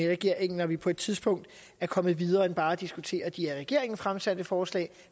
regeringen når vi på et tidspunkt er kommet videre end til bare at diskutere de af regeringen fremsatte forslag